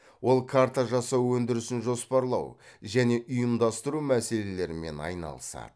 ол карта жасау өндірісін жоспарлау және ұйымдастыру мәселелерімен айналысады